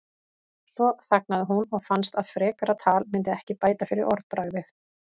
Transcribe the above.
Svo þagnaði hún og fannst að frekara tal myndi ekki bæta fyrir orðbragðið.